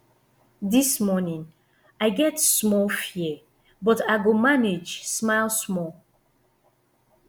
dis morning i get small fear but i go manage smile small